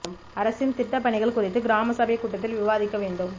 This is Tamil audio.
அரசின் திட்டப் பணிகள் குறித்து கிராம சபைக் கூட்டத்தில் விவாதிக்க வேண்டும்